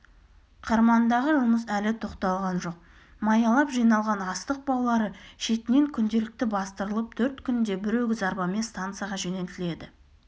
қырмандағы жұмыс әлі тоқталған жоқ маялап жиналған астық баулары шетінен күнделікті бастырылып төрт күнде бір өгіз арбамен станцияға жөнелтіледі